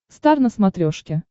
стар на смотрешке